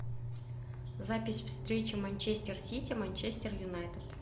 запись встречи манчестер сити манчестер юнайтед